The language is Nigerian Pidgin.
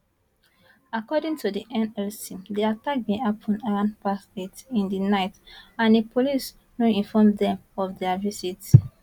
according to di nlc di attack bin happun around past 8 in di night and di police no inform dem of dia visit